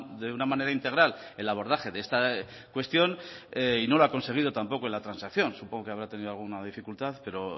de una manera integral el abordaje de esta cuestión y no lo ha conseguido tampoco en la transacción supongo que habrá tenido alguna dificultad pero